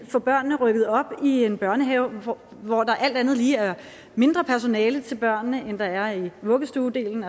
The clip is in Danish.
få børn rykket op i en børnehave hvor hvor der alt andet lige er mindre personale til børnene end der er i vuggestuedelen